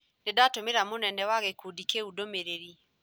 Nĩndatũmĩra mũnene wa gĩkundi kĩu ndũmĩrĩri